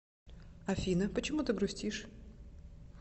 афина почему ты грустишь